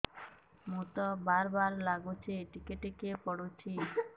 ମୁତ ବାର୍ ବାର୍ ଲାଗୁଚି ଟିକେ ଟିକେ ପୁଡୁଚି